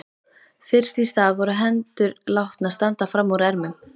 Fyrst í stað voru hendur látnar standa fram úr ermum.